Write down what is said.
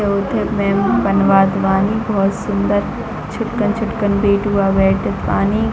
उथे पेम बनवात बनी बोहत सुन्दर छुटकन-छुटकन बेटवा बैठत बानी --